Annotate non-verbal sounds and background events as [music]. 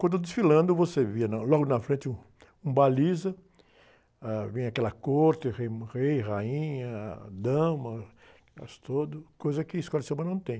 Quando eu desfilando, você via na, logo na frente um, um baliza, ãh, vem aquela corte, o rei, [unintelligible] rainha, dama, elas todas, coisa que Escola de Samba não tem.